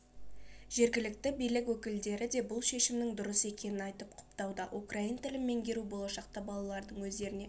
жергілікті билік өкілдері де бұл шешімнің дұрыс екенін айтып құптауда украин тілін меңгеру болашақта балалардың өздерін